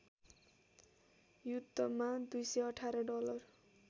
युद्धमा २१८ डलर